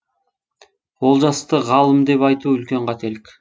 олжасты ғалым деп айту үлкен қателік